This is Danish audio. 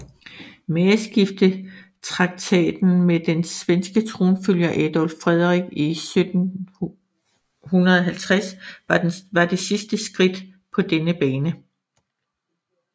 Mageskiftetraktaten med den svenske tronfølger Adolf Frederik 1750 var det sidste skridt på denne bane